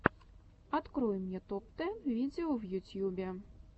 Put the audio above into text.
открой мне топ тэн видео в ютьюбе